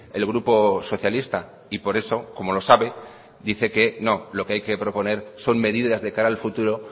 el grupo socialista y por eso como lo sabe dice que no lo que hay que proponer son medidas de cara al futuro